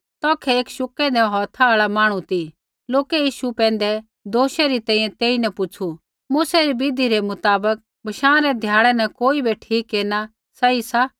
तौखै एक शुकेंदै हौथा आल़ा मांहणु ती लोकै यीशु पैंधै दोष री तैंईंयैं तेईन पुछ़ू मूसै री विधि रै मुताबक बशाँ रै ध्याड़ै न कोई बै ठीक केरना सही सा